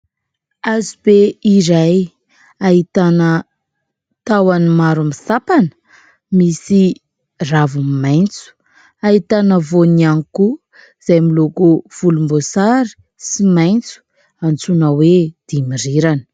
Hazo be iray ahitana tahon'ny maro misampana, misy ravony maintso ahitana voany ihany koa izay miloko volombosary sy maintso antsoina hoe dimirirana.